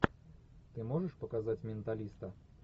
ты можешь показать менталиста